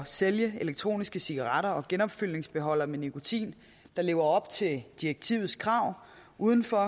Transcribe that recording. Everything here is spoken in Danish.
sælge elektroniske cigaretter og genopfyldningsbeholdere med nikotin der lever op til direktivets krav uden for